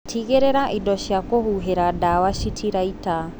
Tigĩrĩra indo cia kũhuhĩra ndawa citiraita.